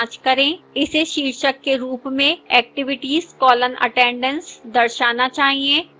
इसे शीर्षक के रूप में activities colon attendance दर्शाना चाहिए